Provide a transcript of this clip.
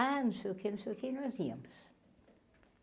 Ah, não sei o quê, não sei o quê, nós íamos.